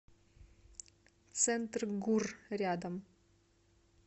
центргурр рядом